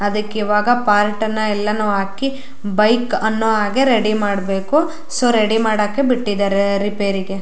ಅದಕ್ಕೆ ಈವಾಗ ಪಾರ್ಟ್ ಅನ್ನ ಎಲ್ಲಾನು ಹಾಕಿ ಬೈಕ್ ಅನ್ನು ಹಾಗೆ ರೆಡಿ ಮಾಡಬೇಕು ಸೋ ರೆಡಿ ಮಾಡಕ್ಕೆ ಬಿಟ್ಟಿದರೆ ರಿಪೇರಿಗೆ --